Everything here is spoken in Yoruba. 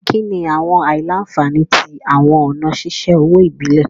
Kini awọn aila-nfani ti awọn ọna ṣiṣe owo ibile?